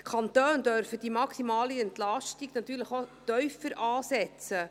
Die Kantone dürfen die maximale Entlastung natürlich auch tiefer ansetzen.